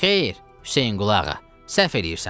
Xeyr, Hüseynqulağa, səhv eləyirsən.